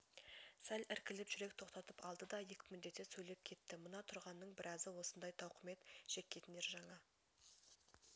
сәл іркіліп жүрек тоқтатып алды да екпіндете сөйлеп кетті мына тұрғанның біразы осындай тауқымет шеккендер жаңа